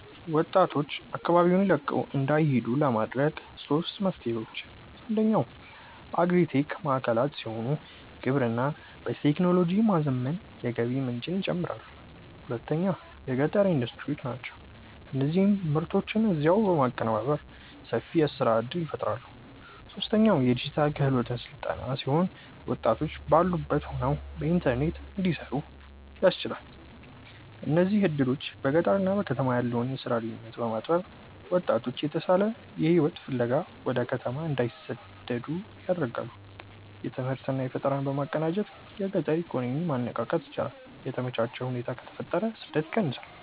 ወጣቶች አካባቢውን ለቀው እንዳይሄዱ ለማድረግ ሦስት መፍትሄዎች፦ አንደኛው አግሪ-ቴክ ማዕከላት ሲሆኑ፣ ግብርናን በቴክኖሎጂ በማዘመን የገቢ ምንጭን ይጨምራሉ። ሁለተኛው የገጠር ኢንዱስትሪዎች ናቸው፤ እነዚህ ምርቶችን እዚያው በማቀነባበር ሰፊ የሥራ ዕድል ይፈጥራሉ። ሦስተኛው የዲጂታል ክህሎት ሥልጠና ሲሆን፣ ወጣቶች ባሉበት ሆነው በኢንተርኔት እንዲሠሩ ያስችላል። እነዚህ ዕድሎች በገጠርና በከተማ ያለውን የሥራ ልዩነት በማጥበብ ወጣቶች የተሻለ ሕይወት ፍለጋ ወደ ከተማ እንዳይሰደዱ ያደርጋሉ። ትምህርትና ፈጠራን በማቀናጀት የገጠር ኢኮኖሚን ማነቃቃት ይቻላል። የተመቻቸ ሁኔታ ከተፈጠረ ስደት ይቀንሳል።